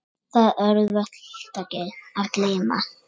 Það er auðvelt að gleyma.